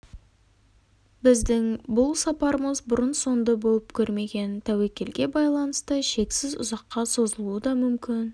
біздің бұл сапарымыз бұрын-соңды болып көрмеген тәуекелге байланысты шексіз ұзаққа созылуы да мүмкін